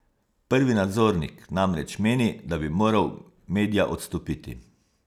Prvi nadzornik namreč meni, da bi moral Medja odstopiti.